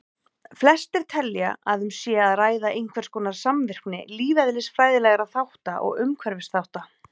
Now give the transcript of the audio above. Flestir telja að um sé að ræða einhverskonar samvirkni lífeðlisfræðilegra þátta og umhverfisþátta.